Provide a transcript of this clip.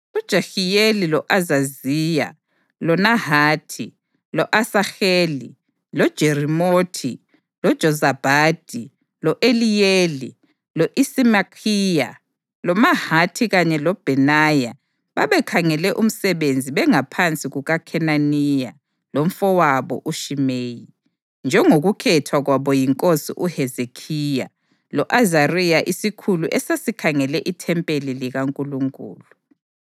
UJehiyeli, lo-Azaziya, loNahathi, lo-Asaheli, loJerimothi, loJozabhadi, lo-Eliyeli, lo-Isimakhiya loMahathi kanye loBhenaya babekhangele umsebenzi bengaphansi kukaKhenaniya lomfowabo uShimeyi, njengokukhethwa kwabo yinkosi uHezekhiya lo-Azariya isikhulu esasikhangele ithempeli likaNkulunkulu.